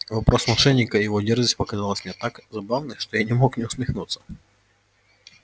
вопрос мошенника и его дерзость показались мне так забавны что я не мог не усмехнуться